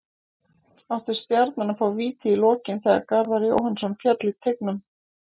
Átti Stjarnan að fá víti í lokin þegar Garðar Jóhannsson féll í teignum?